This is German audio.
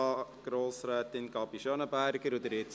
Grossrätin Gabi Schönenberger hat das Wort.